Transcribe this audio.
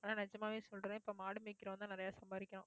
ஆனா, நிஜமாவே சொல்றேன். இப்ப மாடு மேய்க்கிறவன்தான் நிறைய சம்பாதிக்கிறான்